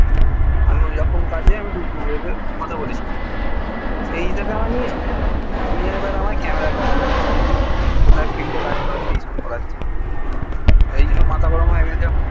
আমি ওই রকম কাজে কথা বলে ছিলাম সেই হিসাবে আমাকে নিয়েছিল নিয়ে এবার আমাকে camera র কাজ করাচ্ছে কোথায় field এ কাজ করাচ্ছে এই সব করাচ্ছে এই জন্য মাথা গরম হয়ে গেছে আমার